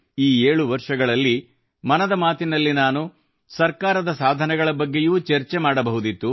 ಈ 7 ವರ್ಷಗಳಲ್ಲಿ ಮನದ ಮಾತಿನಲ್ಲಿ ನಾನು ಸರ್ಕಾರದ ಸಾಧನೆಗಳ ಬಗ್ಗೆಯೂ ಚರ್ಚೆ ಮಾಡಬಹುದಿತ್ತು